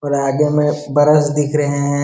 और आगे में ब्रश दिख रहे हैं।